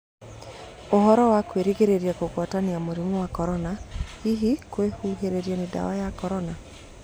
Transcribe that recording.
ũhoro wa kũgĩrĩrĩria kugwatanĩa mũrĩmu wa Korona hĩhĩ kwĩhũhĩrĩa nĩ dawa ya Korona?